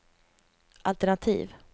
altenativ